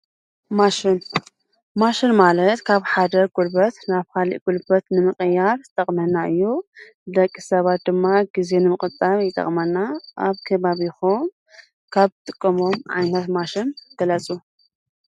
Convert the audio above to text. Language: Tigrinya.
ማሽን ማለት ካብ ሓደ ጉልበት ናብ ካሊእ ጉልበት ንምቅያር ዝጠቕመና እዩ። ን ደቂ ሰባት ድማ ግዜ ንምቁጣብ ይጠቅምና። ኣብ ከባቢኩም ካብ ትጥቅሙዎም ማሽን ግለፁ?